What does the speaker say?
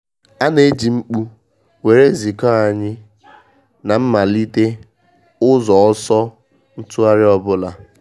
A na eji mkpu were ziko anyị na malitere ụzọ ọsọ ntụgharị ọbụla.